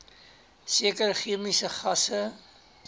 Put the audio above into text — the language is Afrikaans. sekere chemiese gasse